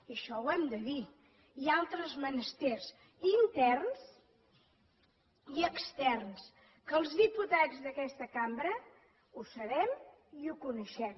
i això ho hem de dir i altres menesters interns i externs que els diputats d’aquesta cambra ho sabem i ho coneixem